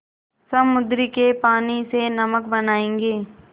समुद्र के पानी से नमक बनायेंगे